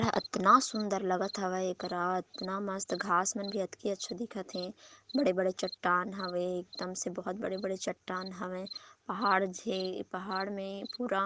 आतन सुंदर लगा हबे ये करा आतन मस्त घास मन अत्की अच्छा दिख थे बडे बडे चट्टान हवै एकदम से बहुत बड़े बड़े चट्टान हवै पहाड़ जे पहाड़ में पूरा --